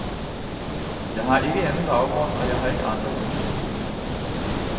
Jeg har ikke anden baggrund, og jeg har ikke andre motiver.